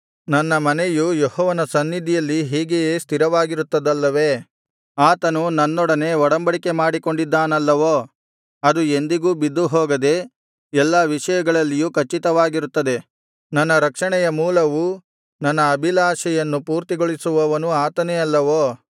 ನನ್ನ ಮನೆಯು ಯೆಹೋವನ ಸನ್ನಿಧಿಯಲ್ಲಿ ಹೀಗೆಯೇ ಸ್ಥಿರವಾಗಿರುತ್ತದಲ್ಲವೇ ಆತನು ನನ್ನೊಡನೆ ಒಡಂಬಡಿಕೆ ಮಾಡಿಕೊಂಡಿದ್ದಾನಲ್ಲವೋ ಅದು ಎಂದಿಗೂ ಬಿದ್ದುಹೋಗದೆ ಎಲ್ಲಾ ವಿಷಯಗಳಲ್ಲಿಯೂ ಖಚಿತವಾಗಿರುತ್ತದೆ ನನ್ನ ರಕ್ಷಣೆಯ ಮೂಲವೂ ನನ್ನ ಅಭಿಲಾಷೆಯನ್ನು ಪೂರ್ತಿಗೊಳಿಸುವವನೂ ಆತನೇ ಅಲ್ಲವೋ